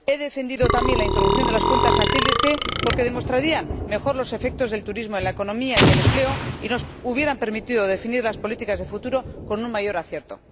He defendido también la introducción de las cuentas satélite, porque demostrarían mejor los efectos del turismo en la economía y el empleo y nos habrían permitido definir las políticas de futuro con un mayor acierto.